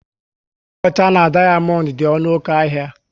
Ọlaọcha na dayamondu dị ọnụ oké ahịa